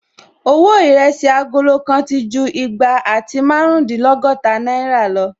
Owó Ìrẹsí agolo kan ti ju igba àti márùndínlọ́gọ́ta náìrà lọ